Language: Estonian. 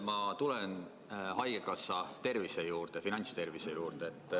Ma tulen haigekassa finantstervise juurde.